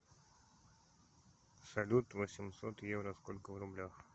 салют восемьсот евро сколько в рублях